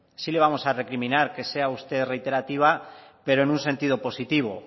sí le vamos a recriminar que sea usted reiterativa pero en un sentido positivo